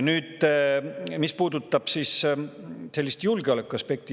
Nüüd sellest, mis puudutab julgeolekuaspekti.